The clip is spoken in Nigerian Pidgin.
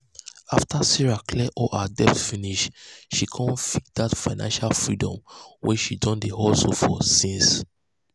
after sarah clear all her debt finish she con feel that financial freedom wey she don dey hustle for since.